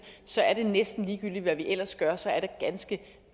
så er det næsten ligegyldigt hvad vi ellers gør for så er det ganske